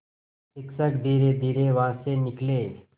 शिक्षक धीरेधीरे वहाँ से निकले